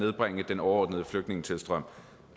nedbringe den overordnede flygtningetilstrømning